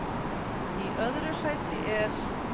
Í öðru sæti er